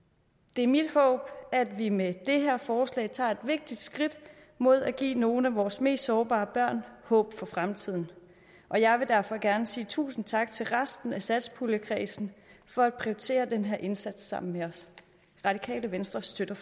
det er mit håb at vi med det her forslag tager et vigtigt skridt mod at give nogle af vores mest sårbare børn håb for fremtiden og jeg vil derfor gerne sige tusind tak til resten af satspuljekredsen for at prioritere den her indsats sammen med os radikale venstre støtter